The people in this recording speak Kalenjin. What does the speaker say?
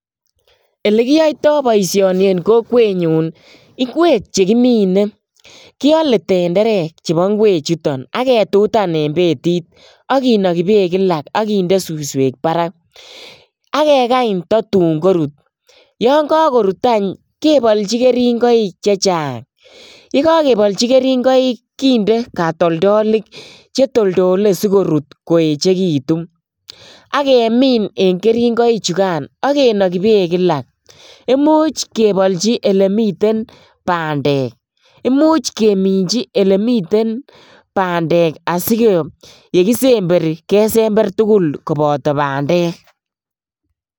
Ele kioitoi boisioni en kokwenyun ingwek che kimine, kiole tenderek chebo gwechuton, ak ketutan en betit ak kinoki beek kila ak kinde suswek barak, ak kekany tatun korut, yan kakorut any kebolchi keringoik che chang, ye kakebolchi keringoik kinde katoldolik che toldole si korut koechekitu, ak kemin en keringoichukan, ak kenoki beek kila, imuch kebolchi ele miten bandek, imuch keminchi ele miten bandek asi ye kisemberi kesember tugul koboto bandek.